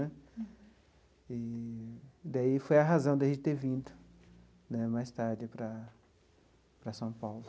E daí foi a razão de a gente ter vindo né mais tarde para para São Paulo.